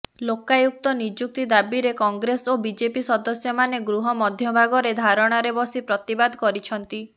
ଲୋକାୟୁକ୍ତ ନିଯୁକ୍ତି ଦାବିରେ କଂଗ୍ରେସ ଓ ବିଜେପି ସଦସ୍ୟମାନେ ଗୃହ ମଧ୍ୟଭାଗରେ ଧାରଣାରେ ବସି ପ୍ରତିବାଦ କରିଛନ୍ତି